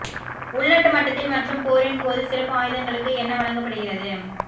உள்நாட்டு மட்டத்தில் மற்றும் போரின் போது சிறப்பு ஆயுதங்களுக்கு என்ன வழங்கப்படுகிறது